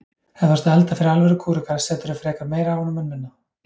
Ef þú ert að elda fyrir alvöru kúreka seturðu frekar meira af honum en minna.